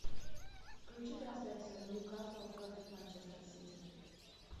включи трансляцию ньюкасл против манчестер сити